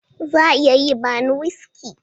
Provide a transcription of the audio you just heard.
Za a iya yi bani wuski?